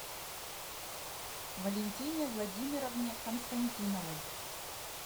валентине владимировне константиновой